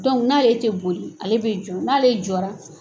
Dɔnku n'ale tɛ boli, ale bɛ jɔ, n'ale jɔra